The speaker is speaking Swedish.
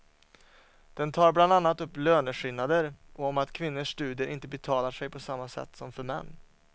Den tar bland annat upp löneskillnader och om att kvinnors studier inte betalar sig på samma sätt som för män.